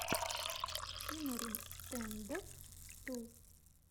тимарин стэндофф ту